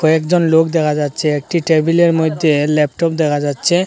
একজন লোক দেখা যাচ্ছে একটি টেবিলের মইদ্যে ল্যাপটপ দেখা যাচ্ছে।